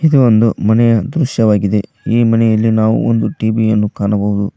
ಇದು ಒಂದು ಮನೆಯ ದೃಶ್ಯವಾಗಿದೆ ಈ ಮನೆಯಲ್ಲಿ ನಾವು ಒಂದು ಟಿ_ವಿ ಯನ್ನು ಕಾಣಬಹುದು.